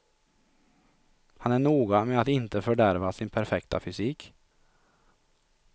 Han är noga med att inte fördärva sin perfekta fysik.